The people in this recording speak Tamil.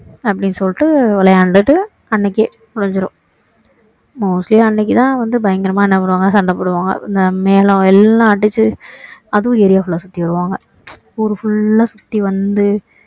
அப்படின்னு சொல்லிட்டு விளையாண்டிட்டு அன்னைக்கே முடிஞ்சிடும் mostly அன்னைக்கு தான் வந்து பயங்கரமா என்ன பண்ணுவாங்க சண்டை போடுவாங்க இந்த மேலம் எல்லாம் அடிச்சி அதுவும் area full ஆ சுத்தி வருவாங்க ஊரு full ஆ சுத்தி வந்து